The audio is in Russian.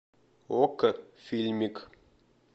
окко фильмик